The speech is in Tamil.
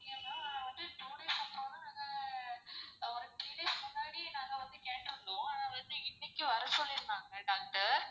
two days அப்பறம் தான் ஆஹ் three days முன்னாடி நாங்க வந்து கேட்ருந்தோம் ஆனா வந்து இன்னைக்கு வர சொல்லிர்ந்தாங்க doctor.